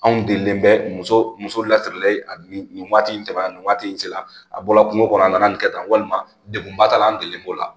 Anw delilen bɛ muso muso lasirilen nin nin waati in tɛmɛna nin waati in sera a bɔla kungo kɔnɔ a nana nin kɛ tan walima degunba ta la an delilen b'o la